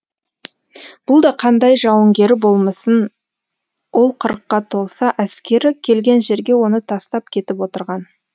бұл да қандай жауынгері болмасын ол қырыққа толса әскері келген жерге оны тастап кетіп отырған